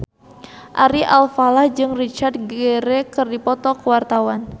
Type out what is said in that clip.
Ari Alfalah jeung Richard Gere keur dipoto ku wartawan